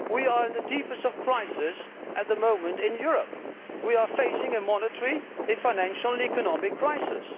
We are in the deepest of crises at the moment in Europe we are facing a monetary, financial and economic crisis.